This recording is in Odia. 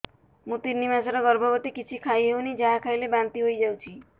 ମୁଁ ତିନି ମାସର ଗର୍ଭବତୀ କିଛି ଖାଇ ହେଉନି ଯାହା ଖାଇଲେ ବାନ୍ତି ହୋଇଯାଉଛି